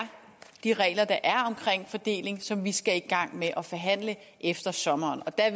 de regler der er omkring fordeling som vi skal i gang med at forhandle efter sommeren og der